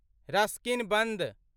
Ruskin बन्द